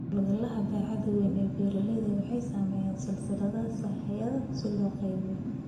Hawlgallada baaxadda weyn ee beeralaydu waxay sameeyeen silsilado sahayda si loo qaybiyo.